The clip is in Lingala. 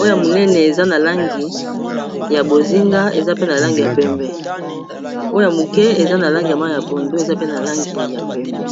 oya moneneealnya bozinga eana lani yaee oyo moke eza na langi y ma ya pondo eza pe na langi ya pembe